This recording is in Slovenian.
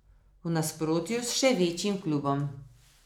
V nasprotju s še večjim klubom.